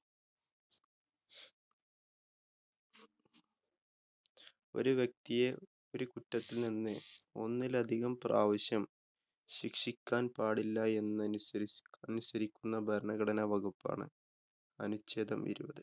ഒരു വ്യക്തിയെ ഒരു കുറ്റത്തില്‍ നിന്ന് ഒന്നിലധികം പ്രാവശ്യം ശിക്ഷിക്കാന്‍ പാടില്ല എന്നനുസ~എന്നനുസരിക്കുന്ന ഭരണഘടന വകുപ്പാണ് അനുച്ഛേദം ഇരുപത്.